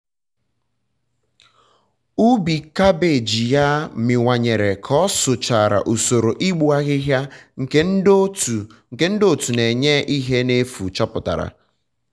ubi kabeeji ya miwanyere ka o sochara usoro igbu ahịhịa nke ndi otu na enye ihe na efu chọpụtara